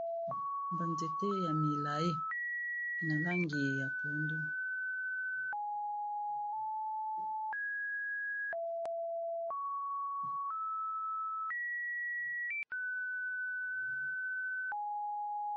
Banzete ya milayi na langi ya pondu